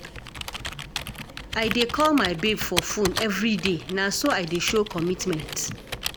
I dey call my babe for fone everyday, na so I dey show commitment.